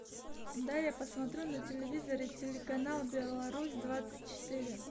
дай я посмотрю на телевизоре телеканал беларусь двадцать четыре